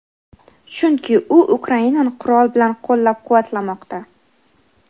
chunki u Ukrainani qurol bilan qo‘llab-quvvatlamoqda.